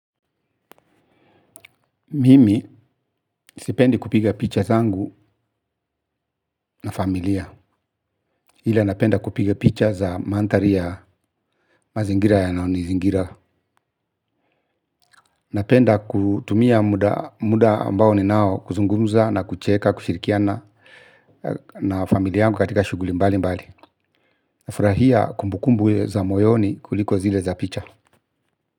Mimi sipendi kupiga picha zangu na familia ila napenda kupiga picha za mandhari ya mazingira yanayonizingira. Napenda kutumia muda ambao ninao kuzungumza na kucheka kushirikiana na familia yangu katika shuguli mbali mbali. Nafurahia kumbukumbu za moyoni kuliko zile za picha.